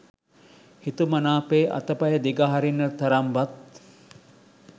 හිතුමනාපේ අතපය දිග හරින්නට තරම් වත්